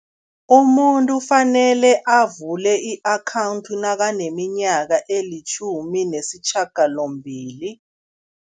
Umuntu ufanele avule i-akhawundi nakaneminyaka elitjhumi nesishiyagalombili.